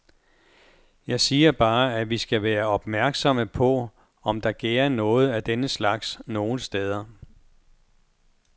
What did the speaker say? Jeg siger bare, at vi skal være opmærksomme på, om der gærer noget af denne slags nogle steder.